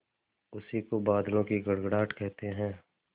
उसी को बादलों की गड़गड़ाहट कहते हैं